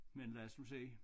Men lad os nu se